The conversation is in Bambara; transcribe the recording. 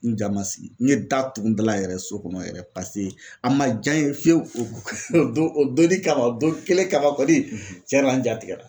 N ja ma sigi n ye da tugu n dala yɛrɛ so kɔnɔ yɛrɛ pase a ma ja n ye fiye fiyew o don o donni kama o don kelen kama kɔni cɛna n ja tigɛra